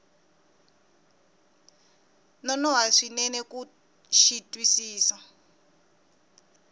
nonoha swinene ku xi twisisa